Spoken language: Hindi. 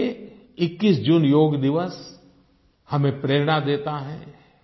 और इसके लिए 21 जून योग दिवस हमें प्रेरणा देता है